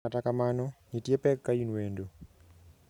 Kata kamano, ntie pek kain wendo.